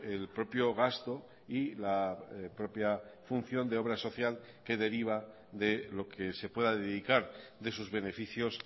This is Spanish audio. el propio gasto y la propia función de obra social que deriva de lo que se pueda dedicar de sus beneficios